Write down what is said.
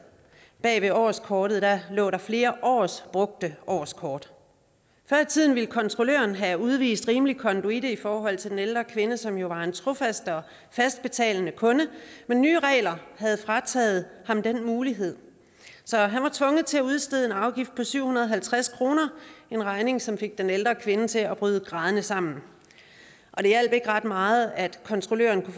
bag ved årskortet lå der flere års brugte årskort og før i tiden ville kontrolløren have udvist rimelig konduite i forhold til den ældre kvinde som jo var en trofast og fast betalende kunde men nye regler havde frataget ham den mulighed så han var tvunget til at udstede en afgift på syv hundrede og halvtreds kroner en regning som fik den ældre kvinde til at bryde grædende sammen og det hjalp ikke ret meget at kontrolløren